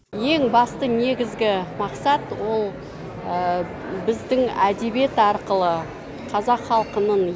ең басты негізгі мақсат ол біздің әдебиет арқылы қазақ халқының